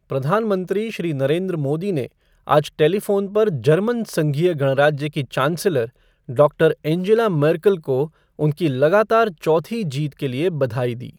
प्रधानमंत्री श्री नरेन्द्र मोदी ने आज टेलीफ़ोन पर जर्मन संघीय गणराज्य की चांसलर डॉक्टर एंजेला मर्केल को उनकी लगातार चौथी जीत के लिए बधाई दी।